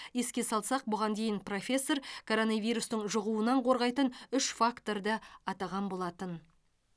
еске салсақ бұған дейін профессор коронавирустың жұғуынан қорғайтын үш факторды атаған болатын